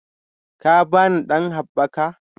Ka ba ni ɗan haɓɓaka